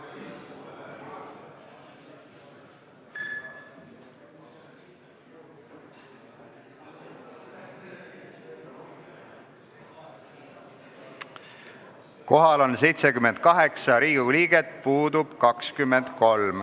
Kohaloleku kontroll Kohal on 78 Riigikogu liiget, puudub 23.